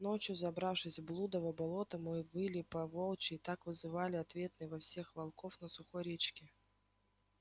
ночью забравшись в блудово болото мы выли по-волчьи и так вызвали ответный вой всех волков на сухой речке